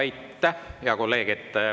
Aitäh, hea kolleeg!